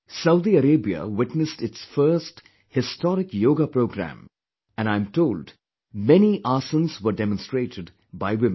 Saudi Arabia witnessed its first, historic yoga programme and I am told many aasans were demonstrated by women